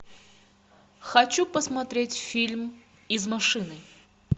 хочу посмотреть фильм из машины